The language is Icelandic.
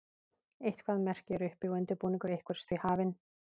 eitthvert merki er uppi og undirbúningur einhvers því hafinn